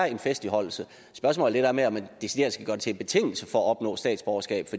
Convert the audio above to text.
i en festligholdelse spørgsmålet er med om man decideret skal gøre det til en betingelse for at opnå statsborgerskab